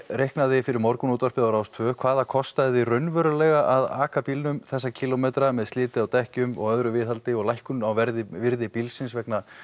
reiknaði fyrir morgunútvarpið á Rás tvö hvað það kostaði þig raunverulega að aka bílnum þessa kílómetra með sliti á dekkjum og öðru viðhaldi lækkun á verði verði bílsins vegna